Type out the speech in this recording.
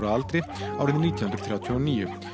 að aldri árið nítján hundruð þrjátíu og níu